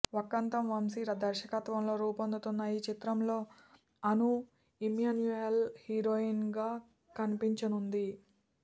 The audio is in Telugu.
వక్కంతం వంశీ దర్శకత్వంలో రూపొందుతున్న ఈచిత్రంలో అను ఇమ్మాన్యుయేల్ హీరోయిన్గా కన్పించనుంది